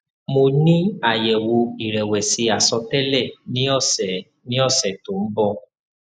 mo ni ayewo irewesi asotele ni ose ni ose to n bo